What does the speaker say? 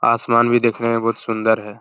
आसमान भी देखने में बोहोत सुन्दर है ।